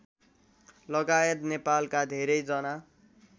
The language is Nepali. लगायत नेपालका धेरै जना